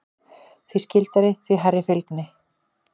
Því skyldari, því hærri fylgni.